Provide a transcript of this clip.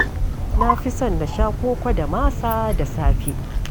Na fi son na sha koko da masa da safe.